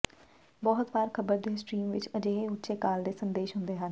ਬਹੁਤ ਵਾਰ ਖ਼ਬਰ ਦੇ ਸਟ੍ਰੀਮ ਵਿਚ ਅਜਿਹੇ ਉੱਚੇ ਕਾਲ ਦੇ ਸੰਦੇਸ਼ ਹੁੰਦੇ ਹਨ